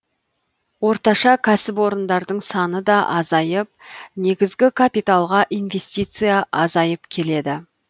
орташа кәсіпорындардың саны да азайып негізгі капиталға инвестиция азайып келеді